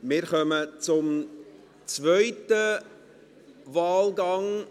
Wir kommen zum zweiten Wahlgang.